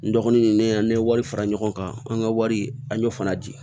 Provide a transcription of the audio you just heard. N dɔgɔnin ne an ne ye wari fara ɲɔgɔn kan an ka wari an y'o fana di